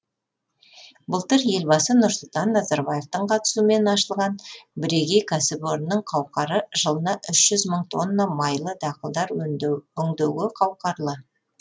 былтыр елбасы нұрсұлтан назарбаевтың қатысуымен ашылған бірегей кәсіпорынның қауқары жылына үш жүз мың тонна майлы дақылдар өңдеуге қауқарлы